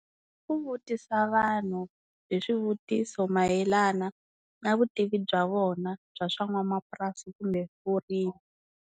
Ku vutisa vanhu hi swivutiso mayelana na vutivi bya vona bya swa n'wamapurasi kumbe vurimi.